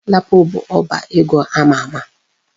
Lapo bụ ọba ego ama ama.